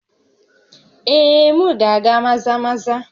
Ee, m na-aga Maza-Maza